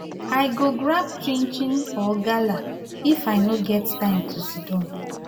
i go grab chinchin or gala if i no get time to siddon